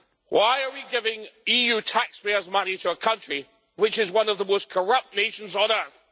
Why are we giving EU taxpayers' money to a country which is one of the most corrupt nations on earth?